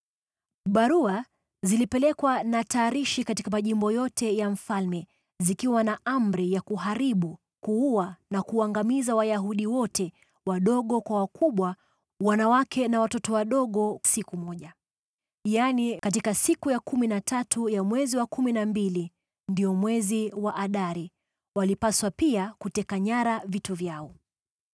Barua zilipelekwa na tarishi katika majimbo yote ya mfalme zikiwa na amri ya kuharibu, kuua na kuangamiza Wayahudi wote, wadogo kwa wakubwa, wanawake na watoto wadogo, siku moja, yaani siku ya kumi na tatu ya mwezi wa kumi na mbili, ndio mwezi wa Adari, na pia kuteka nyara vitu vyao.